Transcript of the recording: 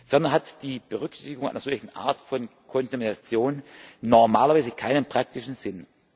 Ferner hat die Berücksichtigung einer solchen Art von Kontamination normalerweise keinen praktischen Sinn.